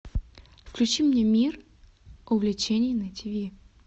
включи мне мир увлечений на тиви